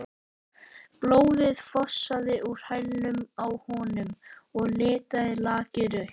Blóðið fossaði úr hælnum á honum og litaði lakið rautt.